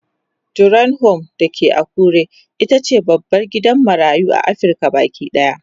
Dorian Home da ke Akure itace babban gidan marayu a Afrika Baki ɗaya